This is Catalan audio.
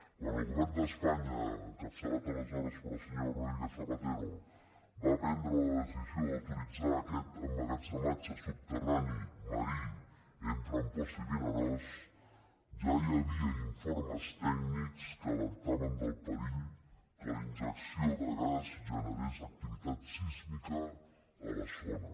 quan el govern d’espanya encapçalat aleshores pel senyor rodríguez zapatero va prendre la decisió d’autoritzar aquest emmagatze·matge soterrani marí entre amposta i vinaròs ja hi havia informes tècnics que alertaven del perill que la injecció de gas generés activitat sísmica a la zona